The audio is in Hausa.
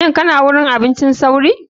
Shin kana gurin abincin sauri.